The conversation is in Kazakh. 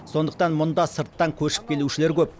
сондықтан мұнда сырттан көшіп келушілер көп